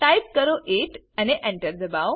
type કરો 8 અને Enter દબાઓ